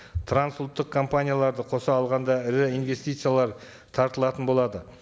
трансұлттық компанияларды қоса алғанда ірі инвестициялар тартылатын болады